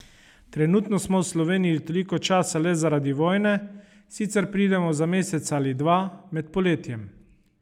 Trenutno smo v Sloveniji toliko časa le zaradi vojne, sicer pridemo za mesec ali dva, med poletjem.